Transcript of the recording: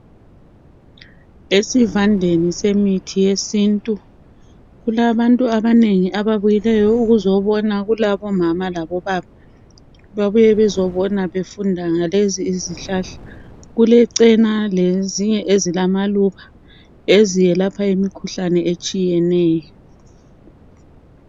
Esivandeni semithi yesintu, kulabantu abanengi, ababuyileyo ukuzobona. Kulabo mama labobaba, babuye bezobona befunda ngalezi izihlahla. Kulechena, lezinye ezilamaluba eziyelapha imikhuhlane etshiyeneyo.